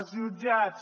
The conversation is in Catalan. els jutjats